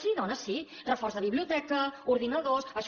sí dona sí reforç de biblioteca ordinadors